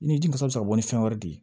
I ni ji kasa bɛ ka bɔ ni fɛn wɛrɛ de ye